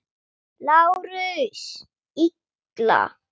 LÁRUS: Illa!